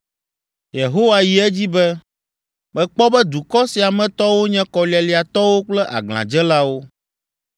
Yehowa yi edzi be, “Mekpɔ be dukɔ sia me tɔwo nye kɔlialiatɔwo kple aglãdzelawo.